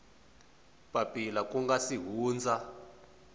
papila ku nga si hundza